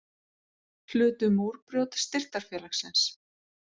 Hlutu Múrbrjót Styrktarfélagsins